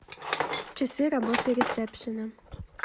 часы работы ресепшена